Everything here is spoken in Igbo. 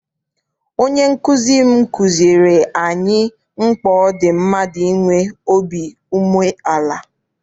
Onye nkụzi m kụziere anyị mkpa ọ dị mmadụ inwe obi umeala.